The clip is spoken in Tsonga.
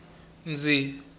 ndzi